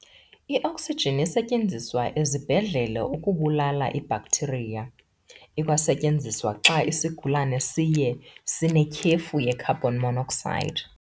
I-Oxygen isetyenziswa ezibhedlele ukubulala ii-bacteria. ikwasetyenziswa xa isigulana siye sanetyhefu ye-carbon monoxide.